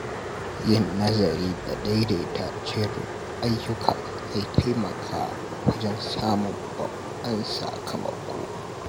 Yin nazari da daidaita jerin ayyuka zai taimaka wajen samun babban sakamako.